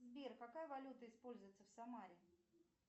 сбер какая валюта используется в самаре